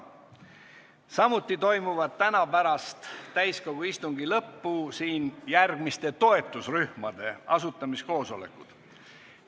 Samuti toimuvad täna pärast täiskogu istungi lõppu siin järgmiste toetusrühmade asutamiskoosolekud.